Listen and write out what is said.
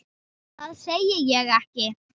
Það segi ég ekki.